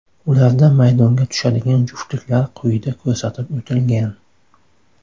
Ularda maydonga tushadigan juftliklar quyida ko‘rsatib o‘tilgan.